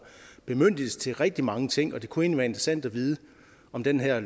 bemyndigelse til rigtig mange ting og det kunne egentlig være interessant at vide om den her